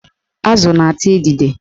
Azụ na-ata idide